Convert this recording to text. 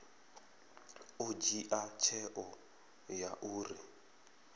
ḓo dzhia tsheo ya uri